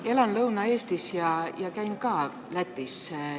Mina elan Lõuna-Eestis ja käin ka Lätis.